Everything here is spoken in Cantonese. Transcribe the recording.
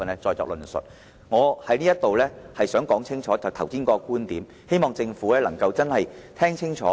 最後，我想再次清楚說明剛才的觀點，希望政府能夠聽得清楚。